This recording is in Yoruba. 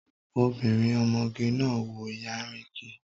Obìnrin ọmọge náà wọ yanríngì